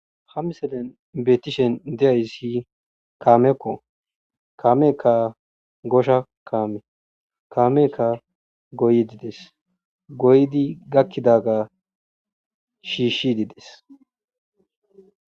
ha miselen beetishen de7ay si kaamekko kaameekka gosha kaame kaameka goyidi des goydi gakkidaga shiishshi dides